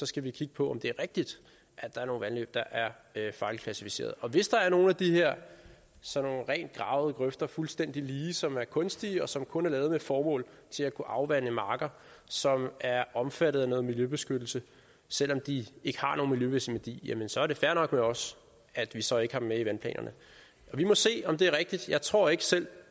skal vi kigge på om det er rigtigt at der er nogle vandløb der er fejlklassificeret og hvis der er nogle af de her sådan nogle rent gravede grøfter fuldstændig lige som er kunstige og som kun er lavet med det formål at kunne afvande marker som er omfattet af noget miljøbeskyttelse selv om de ikke har nogen miljømæssig værdi så er det fair nok med os at vi så ikke har dem med i vandplanerne vi må se om det er rigtigt jeg tror ikke selv